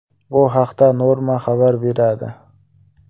Bu haqda Norma xabar beradi .